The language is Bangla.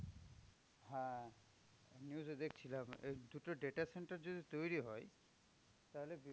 হ্যাঁ, news এ দেখছিলাম রে দুটো data center যদি তৈরী হয় তাহলে